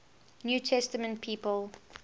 new testament people